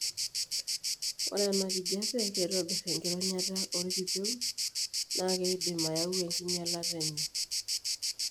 Ore enakijiape keitobir enkironyata toorkipieu naa keidim ayau enkinyialata enye.